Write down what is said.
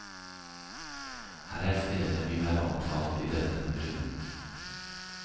Her er stedene vi har omtalt i denne runden.